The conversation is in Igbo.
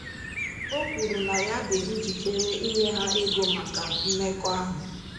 O kwuru na ya dị njikere inye ha ego maka mmekọahụ.